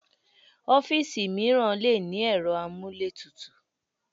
Ọ́fíìsì mìíràn le ní ẹ̀rọ amúlétutù.